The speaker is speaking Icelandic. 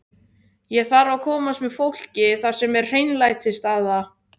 Ég þarf að komast með fólkið þar sem er hreinlætisaðstaða.